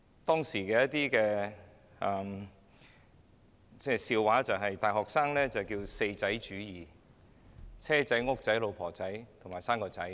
當時引為笑談的是流傳於大學生之間的 "4 仔主義"：亦即"車仔"、"屋仔"、"老婆仔"及"生個仔"。